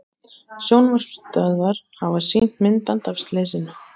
Sjónvarpsstöðvar hafa sýnt myndband af slysinu